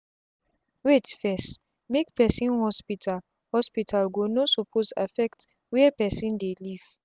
wait fess-make person hospital hospital go no suppose affect where person dey live